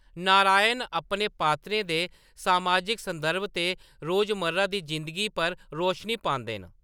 नारायण अपने पात्रें दे समाजिक संदर्भ ते रोजमर्रा दी जिंदगी पर रौशनी पांदे न।